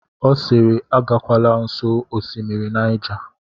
Ọ siiri, agakwala nsọ Osimiri Naija!